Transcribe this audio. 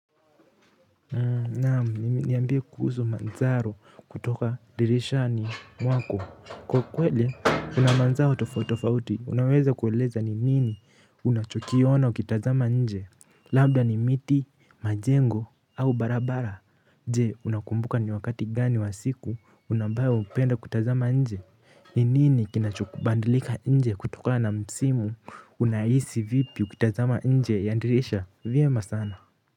Naam niambie kuhusu mandharo kutoka dirishani mwako. Kwa kweli kuna mandharo tofautitofauti. Unaweza kuweleza ni nini unachokiona ukitazama nje? Labda ni miti, majengo au barabara. Je, unakumbuka ni wakati gani wa siku ambayo hupenda kutazama nje? Ni nini kinachokubadilika nje kutokana na msimu? Unahisi vipi ukitazama nje ya dirisha? Vyema sana.